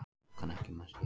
Verðbólgan ekki mest hér